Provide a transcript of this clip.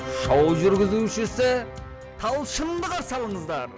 шоу жүргізушісі талшынды қарсы алыңыздар